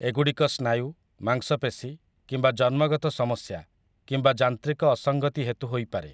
ଏଗୁଡ଼ିକ ସ୍ନାୟୁ, ମାଂସପେଶୀ, କିମ୍ବା ଜନ୍ମଗତ ସମସ୍ୟା, କିମ୍ବା ଯାନ୍ତ୍ରିକ ଅସଙ୍ଗତି ହେତୁ ହୋଇପାରେ ।